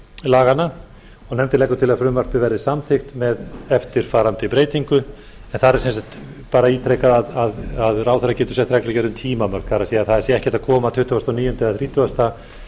laganna nefndin leggur til að frumvarpið verði samþykkt með eftirfarandi breytingu en þar er sem sagt bara ítrekað að ráðherra getur sett reglugerðinni tímamörk það er að það sé ekki hægt að koma tuttugasta og níunda eða þrítugasta